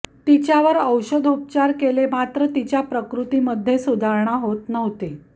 तिच्यावर औषधोपचार केले मात्र तिच्या प्रकृतीमध्ये सुधारणा होत नव्हती